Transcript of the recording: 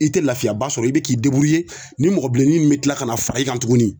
I te lafiyaba sɔrɔ i be k'i deburuye nin mɔgɔ bilenni nun be kila ka na fara i kan tugu